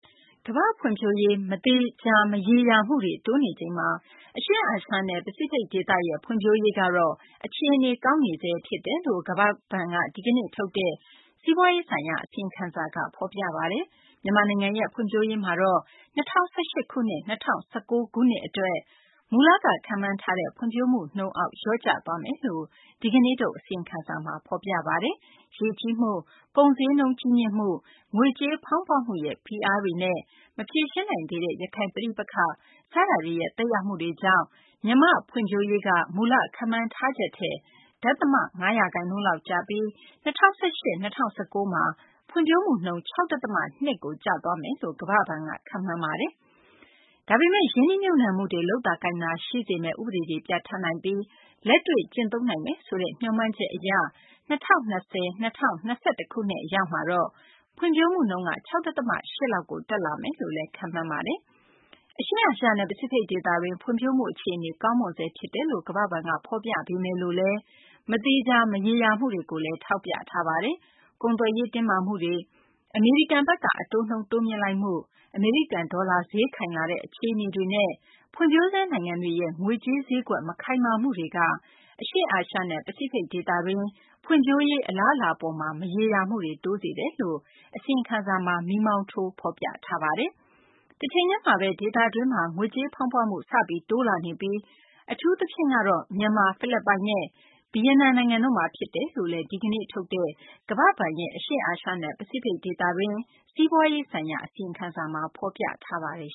ကမ္ဘာ့ ဖွံ့ဖြိုးရေး မရေရာ မသေချာမှုတွေ တိုးနေချိန်မှာ အရှေ့အာရှနဲ့ ပစိဖိတ် ဒေသရဲ့ ဖွံ့ဖြိုးရေးကတော့ အခြေအနေ ကောင်းနေဆဲ ဖြစ်တယ်လို့ ကမ္ဘာ့ဘဏ်က ဒီကနေ့ ထုတ်တဲ့ စီးပွားရေးဆိုင်ရာ အစီအရင်ခံစာက ဖော်ပြလိုက်ပါတယ်။ မြန်မာနိုင်ငံရဲ့ ဖွံ့ဖြိုးရေးမှာတော့ ၂၀၁၈ ခုနှစ်၊ ၂၀၁၉ ခုနှစ် အတွက် မူလက ခန့်မှန်းထားတဲ့ ဖွံ့ဖြိုးမှုနှုန်းအောက် လျော့ကျသွားမယ်လို့လည်း ဒီကနေ့ထုတ် အစီရင်ခံစာမှာ ဖော်ပြပါတယ်။ ရေကြီးမှုတွေ၊ ကုန်ဈေးနှုန်း ကြီးမြင့်လာမှု၊ ငွေကြေးဖောင်းပွမှုရဲ့ ဖိအားတွေနဲ့ မဖြေရှင်းနိုင်သေးတဲ့ ရခိုင် ပဋိပက္ခ စတာတွေရဲ့ သက်ရောက်မှုတွေကြောင့် မြန်မာ့ ဖွံ့ဖြိုးရေးက မူလခန့်မှန်းထားချက်ထက် ဒသမ ၅ ရာခိုင်နှုန်းလောက် ကျပြီး ၂၀၁၈၊ ၂၀၁၉ မှာ ဖွံ့ဖြိုးမှုနှုန်း ၆ ဒသမ ၂ ကို ကျသွားမယ်လို့ ကမ္ဘာ့ဘဏ်က ခန့်မှန်းတာပါ။ ဒါပေမယ့် ရင်းနှီးမြှုပ်နှံမှုတွေ လုပ်သာကိုင်သာ ရှိစေမယ့် ဥပဒေတွေ ပြဌာန်းနိုင်ပြီး လက်တွေ့ကျင့်သုံးနိုင်မယ်ဆိုတဲ့ မျှော်မှန်းချက်အရ ၂၀၂၀/ ၂၀၂၁ အရောက်မှာတော့ ဖွံ့ဖြိုးမှုနှုန်း ၆ ဒသမ ၈ လောက်ကို တက်လာမယ်လို့လည်း ခန့်မှန်းထားပါတယ်။ အရှေ့အာရှနဲ့ ပစိဖိတ် ဒေသတွင်း ဖွံ့ဖြိုးမှု အခြေအနေ ကောင်းမွန်နေဆဲ ဖြစ်တယ်လို့ ကမ္ဘာ့ဘဏ်က ဖော်ပြလိုက်ပေမယ်လို့လည်း မသေချာ မရေရာမှုတွေကိုလည်း ထောက်ပြထားပါတယ်။ ကုန်သွယ်ရေး တင်းမာမှုတွေ၊ အမေရိကန် အတိုးနှုန်း တိုးမြှင့်မှု၊ အမေရိကန် ဒေါ်လာ ဈေးခိုင်လာတဲ့ အခြေအနေတွေနဲ့ ဖွံ့ဖြိုးဆဲ နိုင်ငံတွေရဲ့ ငွေကြေးဈေးကွက် မခိုင်မာမှုတွေက အရှေ့အာရှနဲ့ ပစိဖိတ် ဒေသတွင်း ဖွံ့ဖြိုးရေး အလာအလားအပေါ်မှာ မရေရာမှုတွေ တိုးစေတယ်လို့လည်း အစီရင်ခံစာမှာ မီးမောင်းထိုးပြထားပါတယ်။ တချိန်တည်းမှာဘဲ ဒေသတွင်းမှာ ငွေကြေးဖောင်းပွမှု စပြီး တိုးလာနေပြီး အထူးသဖြင့်တော့ မြန်မာ၊ ဖိလစ်ပိုင်နဲ့ ဗီယက်နမ် နိုင်ငံတို့မှာ ဖြစ်တယ်လို့လည်း ဒီကနေ့ ထုတ်တဲ့ ကမ္ဘာ့ဘဏ်ရဲ့ အရှေ့အာရှနဲ့ ပစိဖိတ် ဒေသတွင်း စီးပွားရေးဆိုင်ရာ အစီရင်ခံစာမှာ ဖော်ပြထားပါတယ်